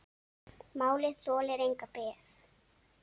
Málið þolir enga bið.